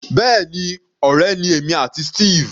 Bẹ́ẹ̀ni, ọ̀rẹ́ ni èmi àti Steve.